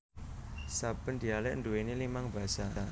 Saben dialek nduweni limang basa